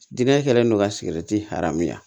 Diinɛ kɛlen don ka sigɛriti hɛrɛ